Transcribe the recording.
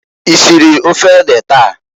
Isiri ofe ede taa?